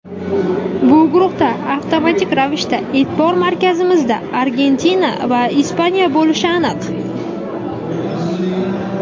Bu guruhda avtomatik ravishda e’tibor markazimizda Argentina va Ispaniya bo‘lishi aniq.